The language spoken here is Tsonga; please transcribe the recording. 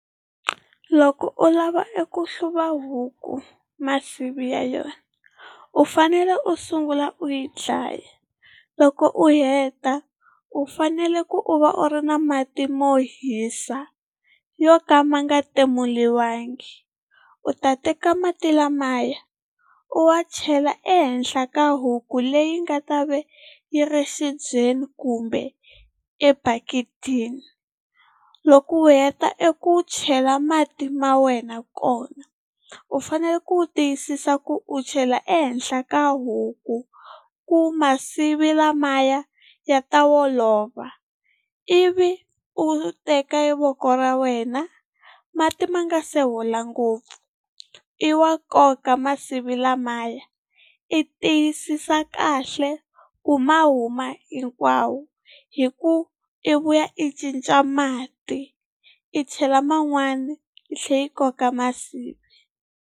Loko u lava eku hluva huku masivi ya yona u fanele u sungula u yi dlaya loko u heta u fanele ku u va u ri na mati mo hisa yo ka ma nga timuliwangi. U ta teka mati lamaya u wa chela ehenhla ka huku leyi nga ta va yi ri exibyeni kumbe ebaketini, loko u heta eku chela mati ma wena kona u fanele ku tiyisisa ku u chela ehenhla ka huku ku masivi lamaya ya ta olova. Ivi u teka voko ra wena mati ma nga se hola ngopfu i wa nkoka masivi lamaya i tiyisisa kahle ku mahuma hinkwawo hi ku i vuya i cinca mati i chela man'wani i tlhe i koka masivi.